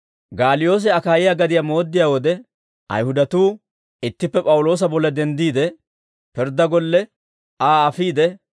Gaaliyoose Akaayiyaa gadiyaa mooddiyaa wode, Ayihudatuu ittippe P'awuloosa bolla denddiide, pirddaa golle Aa afiide,